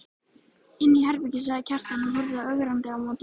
Inni í herbergi, sagði Kjartan og horfði ögrandi á móti.